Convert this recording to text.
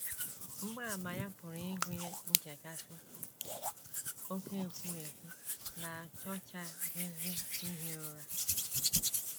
Mgbaàmà ya pụrụ ịgụnye nchekasị, oké ekwurekwu, na achọchaghịzi ihi ụra.